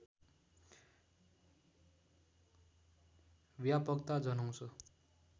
व्यापकता जनाउँछ